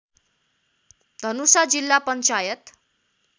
धनुषा जिल्ला पञ्चायत